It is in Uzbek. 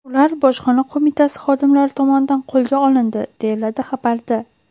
Ular Bojxona qo‘mitasi xodimlari tomonidan qo‘lga olindi”, deyiladi xabarda.